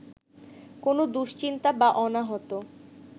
কোনো দুশ্চিন্তা বা অনাহত